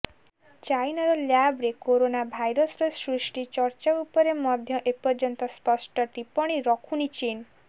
ଚାଇନାର ଲ୍ୟାବରେ କରୋନା ଭାଇରସର ସୃଷ୍ଟି ଚର୍ଚ୍ଚା ଉପରେ ମଧ୍ୟ ଏପର୍ଯ୍ୟନ୍ତ ସ୍ପଷ୍ଟ ଟିପ୍ପଣୀ ରଖୁନି ଚୀନ